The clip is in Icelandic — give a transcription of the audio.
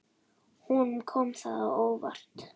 Honum kom það á óvart.